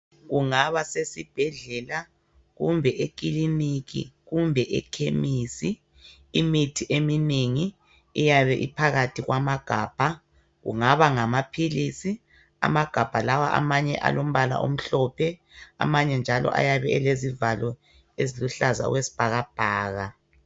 Kungaba sesibhedlela kumbe ekiliniki, kumbe ekhemisi, imithi eminengi iyabe iphakathi kwama gabha kungaba ngama philisi amagabha lawa amanye alombala omhlophe amanye njalo ayabe elezivalo eziluhlaza okwesibhakabhaka.